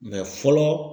fɔlɔ